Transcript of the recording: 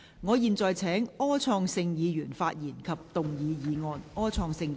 我現在請柯創盛議員發言及動議議案。